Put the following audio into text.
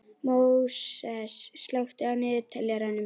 Móses, slökktu á niðurteljaranum.